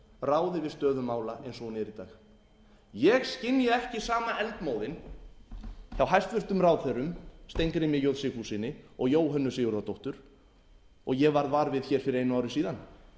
ráði við stöðu mála eins og hún er í dag ég skynja ekki sama eldmóðinn hjá hæstvirtum ráðherrum steingrími j sigfússyni og jóhönnu sigurðardóttur og ég varð var við hér fyrir einu ári síðan